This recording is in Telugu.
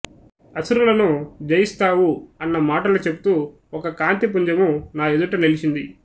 అసురులను జయిస్తావు అన్న మాటాలు చెప్తూ ఒక కాంతిపుంజము నా ఎదుట నిలిచింది